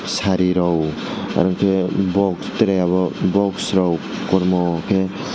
sari rog aro ke box tray obo box rok kormo ke.